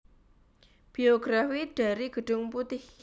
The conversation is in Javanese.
Biografi dari Gedung Putih